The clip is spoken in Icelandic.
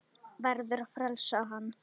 Verður að frelsa hann.